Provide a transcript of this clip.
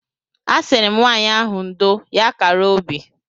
A sịrị m nwaanyị ahụ ndo; ya kara obi.